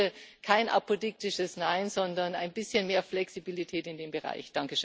Also bitte kein apodiktisches Nein, sondern ein bisschen mehr Flexibilität in dem Bereich.